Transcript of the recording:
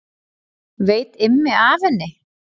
Veit Immi af henni?